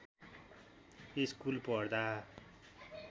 school पढ्दा